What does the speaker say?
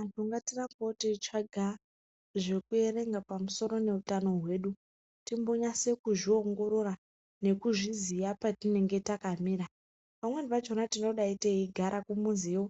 Anhu ngatirambewo teitsvaga zvekuerenga pamusoro neutano hwedu ,timbonyase kuzviongorora nekuzviziya patinenge takamira, pamweni pachona ,tingadai teigara kumuziyo